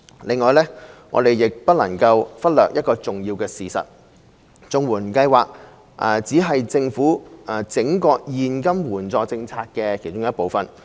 另外，我們亦不能忽略一個重要事實，就是綜援計劃只是政府整個現金援助政策的其中一部分。